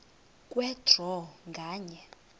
kwe draw nganye